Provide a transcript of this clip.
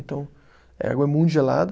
Então a água é muito gelada.